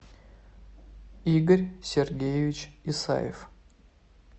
игорь сергеевич исаев